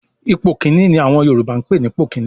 "Ipò kíní" ni àwọn Yorùbá ń pè ní ipò kíní